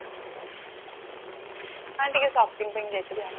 ହଁ ଟିକେ shopping ପାଇଁ ଯାଇଥିଲି ଆଉ